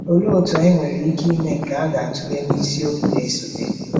Olee otú anyị nwere ike ime nke a ga-atụle na isiokwu na-esote.